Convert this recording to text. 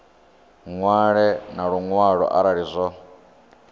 ṅwale na luṅwalo arali zwo